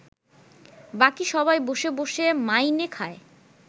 বাকি সবাই বসে বসে মাইনে খায়